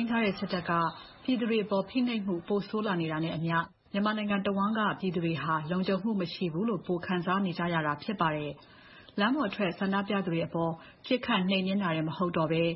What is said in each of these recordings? မ်းထားတဲ့ စစ်တပ်က ပြည်သူတွေအပေါ် ဖိနှိပ်မှုတွေ ပိုဆိုးလာတာနဲ့အမျှ မြန်မာနိုင်ငံတဝှမ်းက ပြည်သူတွေဟာ လုံခြုံမှု မရှိဘူးလို့ ပိုခံစားနေရတာ ဖြစ်ပါတယ်။ လမ်းပေါ်ထွက် ဆန္ဒပြနေသူတွေအပေါ် ပစ်ခတ်နှိမ်နင်းတာတွေ မဟုတ်တော့ဘဲ၊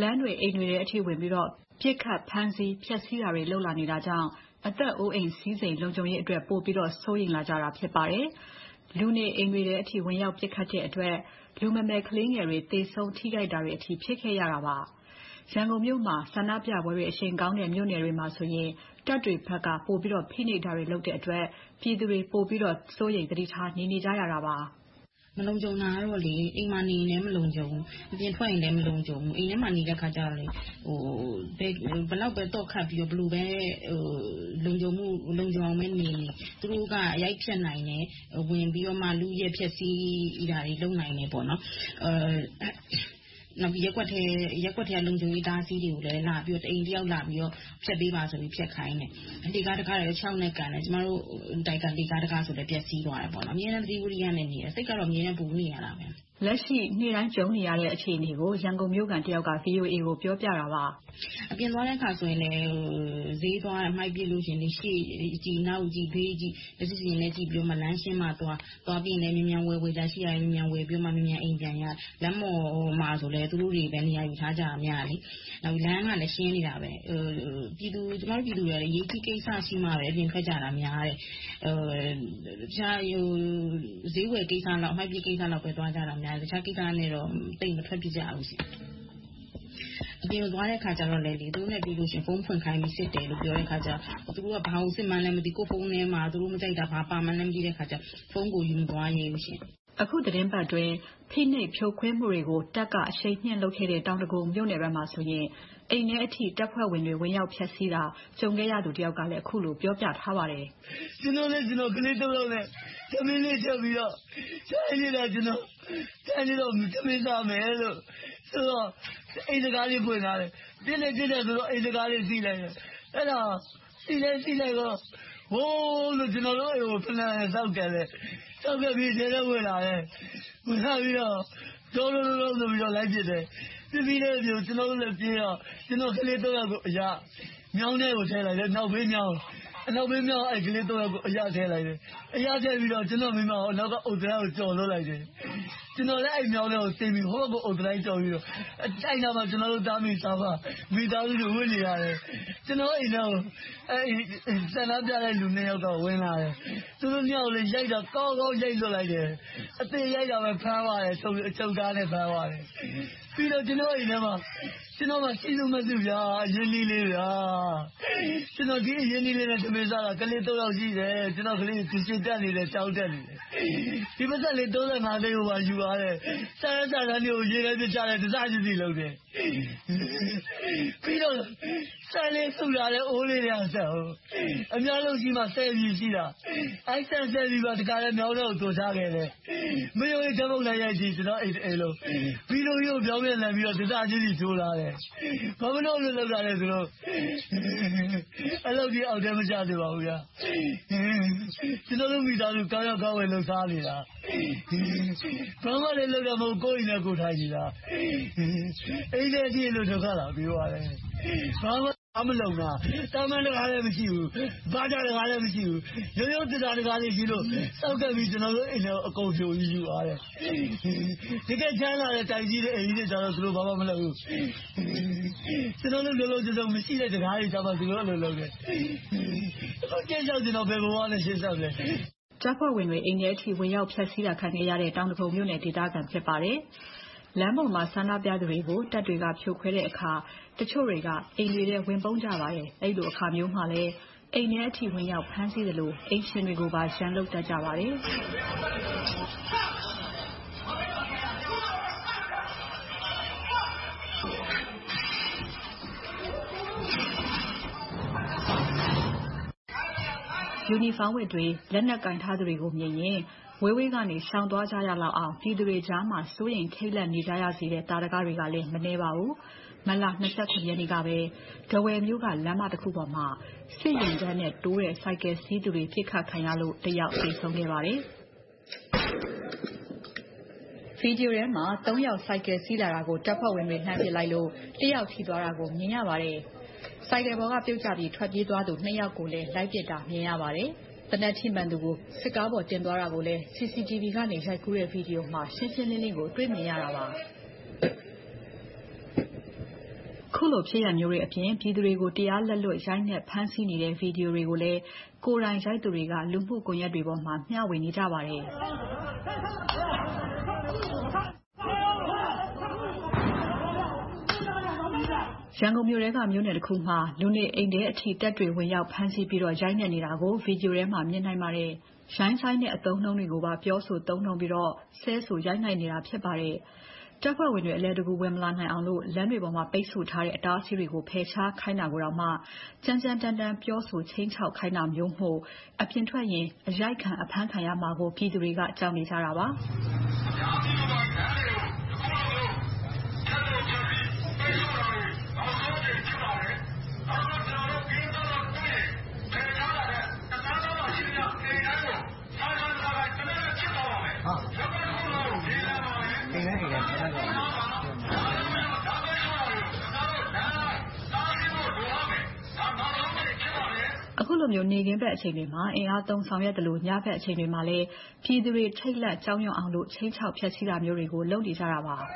လမ်းတွေ အိမ်တွေထဲအထိ ဝင်ပြီးတော့ ပစ်ခတ်ဖမ်းဆီး ဖျက်ဆီးတာတွေ လုပ်လာနေတာကြောင့် အသက်အိုးအိမ် စည်စိမ်လုံခြုံရေးတွေအတွက် ပိုပြီးတော့ စိုးရိမ်လာကြတာ ဖြစ်ပါတယ်။ လူနေအိမ်တွေထဲအထိ ဝင်ရောက်ပြီး ပစ်ခတ်တဲ့အတွက် လူမမယ်ခလေးငယ်တွေပါ သေဆုံးထိခိုက်ရတဲ့အထိ ဖြစ်ခဲ့ရတာပါ။ ရန်ကုန်မြို့မှာ ဆန္ဒပြပွဲတွေ အရှိန်ကောင်းတဲ့ မြို့နယ်တွေမှာဆိုရင် တပ်တွေဘက်က ပိုပြီးတော့ ဖိနှိပ်တာတွေ လုပ်တဲ့အတွက် ပြည်သူတွေ ပိုပြီးတော့ စိုးရိမ်သတိထား နေနေကြရတာပါ။ ဖြေ ။ ။ မလုံခြုံတာတော့ အိမ်မှာနေလဲ မလုံခြုံဘူး။ အပြင်ထွက်ရင်လဲ မလုံခြုံဘူး။ အိမ်ထဲမှာနေတဲ့အခါ ဘယ်လောက်ပဲ သော့ခတ်ပြီး ဘယ်လိုပဲ လုံခြုံအောင်နေနေ သူတို့က ရိုက်ဖျက်နိုင်တယ်။ ဝင်ပြီးတော့မှ လုယက်ဖျက်ဆီးတာတွေ လုပ်နိုင်တယ်။ နောက်ပြီးတော့ ရပ်ကွက်ထဲက လုံခြုံရေး အတားအဆီးတွေကိုလည်း တအိမ်တယောက်လာပြီးတော့ ဖျက်ပေးပါဆိုပြီးတော့ ဖျက်ခိုင်းတယ်။ လှေကားတံခါးတွေကိုလည်း ခြေထောက်နဲ့ကန်တယ်။ ကျမတို့တိုက်က လှေကားတံခါးဆိုလဲ ပျက်ဆီးသွားတယ်။ အမြဲတမ်း သတိဝီရိယနဲ့ နေတယ်။ စိတ်ကတော့ အမြဲပူနေရတယ်။ မစုမြတ်မွန် ။ ။ လက်ရှိ နေ့တိုင်း ကြုံနေရတဲ့ အခြေအနေတွေကို ရန်ကုန်မြို့ခံတယောက်က VOA ကို ပြောပြတာပါ။ ဖြေ ။ ။ အပြင်သွားတဲ့အခါမှာလဲ ဈေးသွား၊ အမှိုက်ပစ်တဲ့အခါ ရှေ့ကြည့်၊ နောက်ကြည့်၊ ဘေးကြည့် မျက်စိရှင်ရှင်နဲ့ ကြည့်ပြီးမှ လမ်းရှင်းမှသွား။ သွားပြီးရင်လဲ မြန်မြန်ဝယ်စရာရှိတာကို မြန်မြန်ဝယ်ပြီးတော့၊ မြန်မြန်အိမ်ပြန်ရတယ်။ လမ်းပေါ်မှာလဲ သူတို့တွေပဲ နေရာယူထားတာ များတယ်လေ။ လမ်းကလည်း ရှင်းနေတာပဲ။ ကျမတို့ ပြည်သူတွေကလဲ အရေးကြီးကိစ္စ ရှိမှပဲ အပြင်ထွက်ကြတာများတယ်။ ဈေးဝယ်ကိစ္စ၊ အမှိုက်ပစ်ကိစ္စလောက်ပဲ သွားကြတယ်။ တခြားကိစ္စနဲ့တော့ သိပ်မထွက်ဖြစ်ကြဘူးရှင့်။ အပြင်သွားတဲ့အခါကြတော့လဲ သူတို့နဲ့ တွေ့တဲ့အခါမှာ ဖုန်းဖွင့်ခိုင်းပြီး စစ်တယ်လို့ ပြောတဲ့အခါကြတော့ သူတို့က ဘာကိုစစ်မှန်းလဲ မသိဘူး။ ကိုယ့်ဖုန်းထဲမှာ သူတို့မကြိုက်တာ ဘာပါမှန်း မသိတဲ့အခါကြတော့ ဖုန်းကိုတောင် ယူမသွားရဲဘူးရှင့်။ မစုမြတ်မွန် ။ ။ အခု သတင်းပတ်အတွင်း ဖိနှိပ်ဖြိုခွင်းမှုတွေကို တပ်က အရှိန်မြှင့်လုပ်ခဲ့တဲ့ တောင်ဒဂုံမြို့နယ်ဘက်မှာဆိုရင် အိမ်ထဲအထိ တပ်ဖွဲ့ဝင်တွေ ဝင်ရောက်ဖျက်ဆီးတာကို ကြုံခဲ့ရသူတယောက်က အခုလို ပြောပြထားပါတယ်။ ဖြေ ။ ။ ကျနော်နဲ့ ကျနော့်ခလေးသုံးယောက် ထမင်းလေးချက်ပြီးတော့ ထိုင်နေတာ။ ထမင်းစားမယ်ဆိုပြီးတော့ အိမ်တံခါးလေး ဖွင့်ထားတယ်။ ပစ်တယ်ဆိုတော့ အိမ်တံခါးလေး စေ့လိုက်တာ၊ အဲဒီလိုစေ့လိုက်ချိန်မှာ ဝုန်းဝုန်းနဲ့ ကျနော်တို့အိမ်ကို စစ်ဖိနပ်နဲ့ စောင့်ကန်ပြီးတော့ အထဲထဲဝင်လာတယ်။ ဝင်လာပြီးတော့ လိုက်ပစ်တယ်။ ပစ်တော့ ကျနော်တို့လည်း ပြေးကြပြီး၊ ခလေးသုံးယောက်ကို နောက်ဘေးမြောင်းထဲကို ထည့်လိုက်တယ်။ ခလေးတွေကို မြောင်းထဲအရထည့်ပြီးတော့ ကျနော့်မိန်းမကို နောက်ဘက်အုတ်တံတိုင်းကို ကျော်လွှတ်လိုက်တယ်။ ကျနော်လည်း မြောင်းထဲဆင်းပြီး ဟိုဘက်အုတ်တံတိုင်းကျော်ပြီး ပြေးတယ်။ အဲဒီနားမှာ ကျနော်တို့ သားအမိသားအဖတွေ ဝပ်နေရတယ်။ ကျနော်တို့ အိမ်ထဲကို ဆန္ဒပြသူနှစ်ယောက်တော့ ဝင်လာတယ်။ သူတို့နှစ်ယောက်ကို ရိုက်တာ - ကောင်းကောင်းရိုက်လွှတ်လိုက်တယ်။ အသေရိုက်ပြီး ဖမ်းပါတယ်။ အချုပ်ကားနဲ့ ဖမ်းသွားတယ်။ ပြီးတော့ ကျနော့်အိမ်ထဲမှာ ကျနော့် ရှိစုမဲ့စု အရင်းအနှီးလေးတွေ - အဲဒီအရင်းအနှီးလေးတွေနဲ့ ထမင်းစားနေရတယ်။ ကျနော့်မှာ ခလေးသုံးယောက် ရှိတယ်။ ခလေးတွေ ကျောင်းခ၊ ကျုရှင်ခ သိန်းကို ယူသွားတယ်။ စာရွက်စာတမ်းတွေကို ရေထဲပစ်ချတယ်။ တစ်စစီလုပ်ပစ်တယ်။ ပြီးတော့ အိုးထဲကဆန်လေး ပြည်ကိုပါ မြောင်းထဲသွန်းချခဲ့တယ်။ မယုံရင် ဓါတ်ပုံလာရိုက်ကြည့် - ကျနော့်တအိမ်လုံး။ ဗီဒိုကြီးကို ပြောင်ပြန်လှန်ပြီး တစ်စစီ ချိုးသွားတယ်။ ဘာဖြစ်လို့ အဲဒီလို လုပ်တာလဲ။ အဲဒီလောက်အထိ အောက်တန်းမကျစေချင်ဘူး။ ကျနော်တို့ မိသားစု ကောင်းရောင်းကောင်းဝယ် လုပ်စားနေတာ။ ဘာမှလဲ လုပ်တာမဟုတ်ဘူး။ ကိုယ်အိမ်ထဲ ကိုယ်ထိုင်နေတာ။ အိမ်ထဲအထိ ဒုက္ခလာပေးသွားတယ်။ ဘာမှမလုံဘူး။ သံပန်းတံခါးလည်း မရှိဘူး။ သံဘာဂျားတံခါးလည်း မရှိဘူး။ ရိုးရိုးသစ်သားတံခါးလေးကို စောင့်ကန်ဝင်ပြီး အကုန်လုံး ယူသွားတယ်။ တကယ့်ချမ်းသာတဲ့ အိမ်ကြီးတွေ၊ တိုက်ကြီးတွေတော့ သူတို့ ဘာမှမလုပ်ဘူး။ ကျနော်တို့လို လုံလုံခြုံခြုံ မရှိတဲ့ တံခါးတွေကြမှ သူတို့ အဲဒီလိုလုပ်တယ်။ ကျနော်တို့ ရှေ့ဆက်ဘယ်လိုဘဝနဲ့ ရှေ့ဆက်မလဲ။ မစုမြတ်မွန် ။ ။ အကြမ်းဖက်ဝင်တွေ အိမ်ထဲအထိ ဝင်ရောက်ဖျက်ဆီးတာ ခံခဲ့ရတဲ့ တောင်ဒဂုံမြို့နယ် ဒေသခံ ဖြစ်ပါတယ်။ လမ်းပေါ်မှာ ဆန္ဒပြသူတွေကို တပ်တွေက ဖြိုခွဲတဲ့အခါ တချို့တွေက အိမ်တွေထဲ ဝင်ပုန်းကြပါတယ်။ အဲဒီလို အခါမျိုးမှာ အိမ်ထဲအထိ ဝင်ရောက်ဖမ်းဆီးသလို အိမ်ရှင်တွေကိုပါ ရန်လုပ်တတ်ကြပါတယ်။ ယူနီဖောင်းဝတ်တွေ၊ လက်နက်ကိုင်ထားသူတွေမြင်ရင် ဝေးဝေးကနေ ရှောင်သွားကြရလောက်အောင် ပြည်သူတွေကြားမှာ စိုးရိမ်ထိတ်လန့်နေကြရတဲ့ သာဓကတွေက မနည်းပါဘူး။ မတ်လ ရက်နေ့ကပဲ ထားဝယ်မြို့က လမ်းမတခုပေါ်မှာ စစ်ယာဉ်တန်းနဲ့ တိုးတဲ့ ဆိုင်ကယ်စီးသူတွေ ပစ်ခတ်ခံရလို့ တယောက်သေဆုံးခဲ့ပါတယ်။ ဗီဒီယိုထဲမှာ ယောက် ဆိုင်ကယ်စီးလာတာကို တပ်ဖွဲ့ဝင်တွေ လှမ်းပစ်လိုက်လို့ တစ်ယောက်ထိသွားတာကို မြင်ရပါတယ်။ ဆိုင်ကယ်ပေါ်က ပြုတ်ကျပြီး ထွက်ပြေးသွားသူ နှစ်ယောက်ကိုလည်း လိုက်ပစ်တာ မြင်ရပါတယ်။ သေနတ်ထိမှန်သူကို စစ်ကားပေါ် တင်သွားတာကိုလည်း CCTV ကနေ ရိုက်ကူးထားတဲ့ ဗီဒီယိုမှာ ရှင်းရှင်းလင်းလင်းကို တွေ့မြင်ရတာပါ။ အခုလိုဖြစ်ရပ်မျိုးတွေအပြင် ပြည်သူတွေကို တရားလက်လွတ် ရိုက်နှက်ဖမ်းဆီးနေတဲ့ ဗီဒီယိုတွေကိုလည်း ကိုယ်တိုင်ရိုက်သူတွေက လူမှုကွန်ရက်တွေပေါ်မှာ မျှဝေနေကြပါတယ်။ ရန်ကုန်မြို့ထဲက မြို့နယ်တခုမှာ လူနေအိမ်ထဲအထိ တပ်တွေဝင်ရောက်ပြီးတော့ ရိုက်နှက်နေတာကို ဗီဒီယိုထဲမှာ မြင်နိုင်ပါတယ်။ ရိုင်းဆိုင်းတဲ့ အသုံးအနှုန်းတွေကိုပါ ပြောဆိုသုံးနှုန်းပြီးတော့ ဆဲဆိုရိုက်နှက်နေတာ ဖြစ်ပါတယ်။ တပ်ဖွဲ့ဝင်တွေ ဝင်မလာနိုင်အောင်လို့ လမ်းတွေပေါ်မှာ ပိတ်စို့ထားတဲ့ အတားအဆီးတွေကို ဖယ်ရှားခိုင်းတာတောင် ကြမ်းကြမ်းတမ်းတမ်း ပြောဆိုခြိမ်းခြောက်ခိုင်းတာမျိုးမို့ အပြင်ထွက်ရင် အရိုက်ခံ၊ အဖမ်းခံရမှာကို ပြည်သူတွေက ကြောက်နေကြတာပါ။ အခုလိုမျိုး နေ့ခင်းဘက်အချိန်တွေမှာ အင်အားသုံး ဆောင်ရွက်သလို၊ ညဘက်အချိန်တွေမှာလည်း ပြည်သူတွေ ထိတ်လန့်ကြောက်ရွံအောင်လို့ ခြိမ်းခြောက်ဖျက်ဆီးတာမျိုးတွေ လုပ်နေတာတွေလည်း ရှိပါတယ်။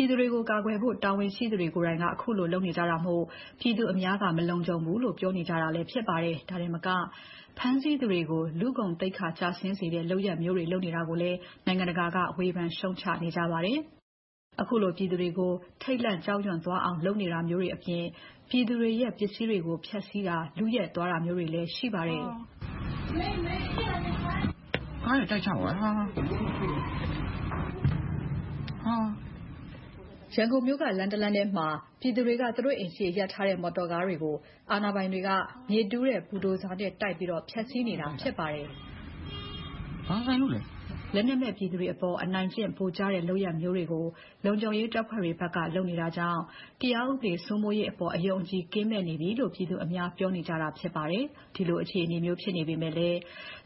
ပြည်သူတွေကို ကာကွယ်ဖို့ တာဝန်ရှိသူတွေကိုယ်တိုင်က အခုလို လုပ်နေကြတာမို့ ပြည်သူအများက မလုံခြုံဘူးလို့ ပြောနေကြတာလဲ ဖြစ်ပါတယ်။ ဒါတင်မက ဖမ်းဆီးသူတွေကို လူဂုဏ်သိက္ခာကျဆင်းစေတဲ့ လုပ်ရပ်မျိုးတွေ လုပ်နေတာကိုလည်း နိုင်ငံတကာက ဝေဖန်ရှုတ်ချပြောဆိုနေကြပါတယ်။ အခုလို ပြည်သူတွေကို ထိတ်လန့်ကြောက်ရွံသွားအောင် လုပ်နေတာမျိုးတွေအပြင် ပြည်သူတွေရဲ့ ပစ္စည်းတွေကို ဖျက်ဆီးတာ၊ လုယက်သွားတာမျိုးတွေလည်း ရှိပါတယ်။ ရန်ကုန်မြို့က လမ်းတလမ်းထဲမှာ ပြည်သူတွေက သူတို့အိမ်ရှေ့လမ်းမပေါ် ရပ်ထားတဲ့ မော်တော်ကားများကို အာဏာပိုင်တွေက မြေတူးတဲ့ ဘူဒိုဇာနဲ့ တိုက်ပြီးတော့ ဖျက်ဆီးခဲ့ပါတယ်။ လက်နက်မဲ့ ပြည်သူတွေအပေါ် အနိုင်ကျင့် ဗိုလ်ကျတဲ့ လုပ်ရပ်မျိုးတွေကို လုံခြုံရေးတပ်ဖွဲ့တွေဘက်က လုပ်နေတာကြောင့် တရားဥပဒေ စိုးမိုးရေးအပေါ် အယုံအကြည် ကင်းမဲ့နေပြီလို့ ပြည်သူအများ ပြောနေကြတာ ဖြစ်ပါတယ်။ ဒီလိုအခြေအနေမျိုး ဖြစ်နေပေမယ့်လဲ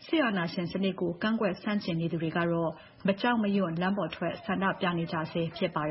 စစ်အာဏာရှင်စနစ်ကို ကန့်ကွက်ဆန့်ကျင်နေသူတွေကတော့ မကြောက်မရွံ လမ်းပေါ်ထွက်ပြီး ဆန္ဒပြနေကြဆဲ ဖြစ်ပါတယ်